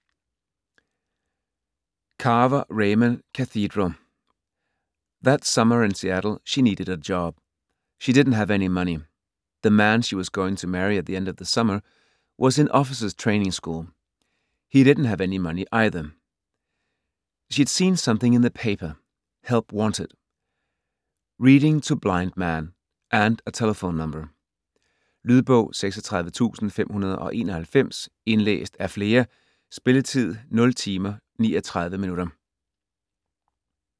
Carver, Raymond: Cathedral That summer in Seattle she needed a job. She didn't have any money. The man she was going to marry at the end of the summer was in officers' training school. He didn't have any money either. She'd seen something in the paper: Help wanted - Reading to blind man, and a telephone number. Lydbog 36591 Indlæst af flere. Spilletid: 0 timer, 39 minutter.